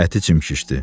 Ətini çimkişdi.